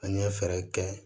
An ye fɛɛrɛ kɛ